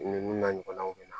Ninnu n'a ɲɔgɔnnaw bɛ na